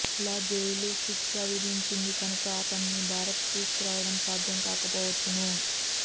ల జైలు శిక్ష విధించింది కనుక అతనిని భారత్ తీసుకురావడం సాధ్యం కాకపోవచ్చును